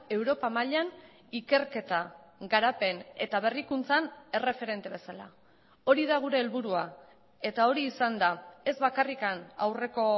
europa mailan ikerketa garapen eta berrikuntzan erreferente bezala hori da gure helburua eta hori izan da ez bakarrik aurreko